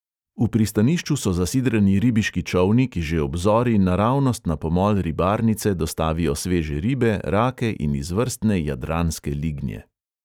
V pristanišču so zasidrani ribiški čolni, ki že ob zori naravnost na pomol ribarnice dostavijo sveže ribe, rake in izvrstne jadranske lignje.